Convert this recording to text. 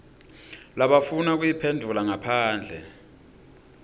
labafuna kuyiphendvula ngaphandle